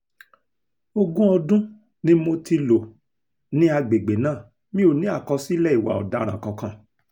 ogún ọdún ni mo ti lò ní àgbègbè náà mi ò ní àkọsílẹ̀ ìwà ọ̀daràn kankan